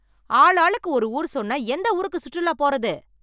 ஆளாளுக்கு ஒரு ஊர் சொன்னா எந்த ஊருக்கு சுற்றுலா போறது?